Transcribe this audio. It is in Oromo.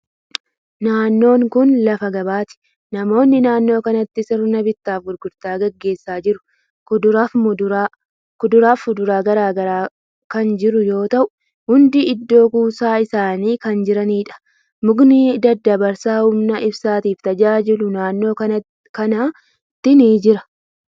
Naannoon kuni lafa gabaati. Namoonni naannoo kanatti sirna bittaa fi gurgurtaa gaggeessaa jiru. Kuduraa fi fuduraan garagaraa kan jiru yoo ta'u, hundi iddoo kuusaa isaanii kan jiraniidha. Mukni daddabarsa humna ibsaatif tajaajilu naannoo kanatti ni jira.